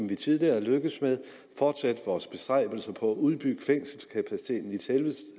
vi tidligere er lykkedes med ved at fortsætte vores bestræbelser på at udbygge fængselskapaciteten i selve